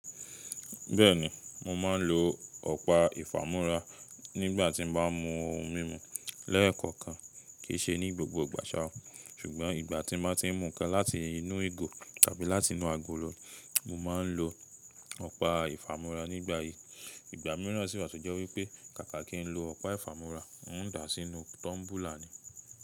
Bẹ́ẹ̀ni, mo máa ń lo ọ̀pá ìfamúra nígbà tí mo bá ń mu ohun mímu lẹ́ẹ̀kọ̀kan. Kì í ṣe ní gbogbo ìgbà ṣá, ṣùgbọ́n ìgbà tí mo ti ń mu nǹkan láti inú ìgò tàbí láti inú àgolo, mo máa ń lo ọ̀pá ìfamúra. Nígbà yi, ìgbà mìíràn sì wá, to jẹ́ wí pé kàkà kí ń lo ọ̀pá ìfamúra, ń dà sí inú tọ́mbúlà ni.